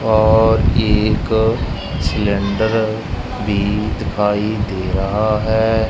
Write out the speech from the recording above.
और एक सिलेंडर भी दिखाई दे रहा है।